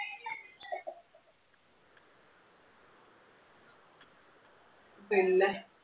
പിന്നെ.